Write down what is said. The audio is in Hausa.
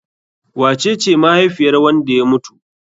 Wace ce mahaifiyar wanda ya mutu?